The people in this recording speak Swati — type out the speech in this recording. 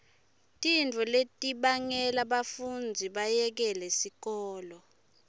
tintfo letibangela bafundzi bayekele sikolo